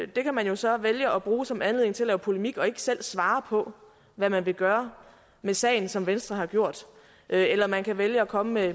det kan man så vælge at bruge som anledning til at lave polemik og ikke selv svare på hvad man vil gøre med sagen som venstre har gjort eller man kan vælge at komme med